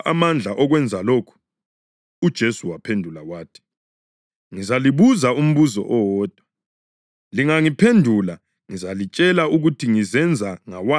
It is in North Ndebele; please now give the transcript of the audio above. UJesu waphendula wathi, “Ngizalibuza umbuzo owodwa. Lingangiphendula ngizalitshela ukuthi ngizenza ngawaphi amandla lezizinto.